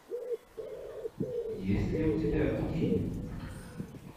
есть ли у тебя гудини